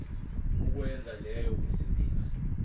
ukwenza leyo misebenzi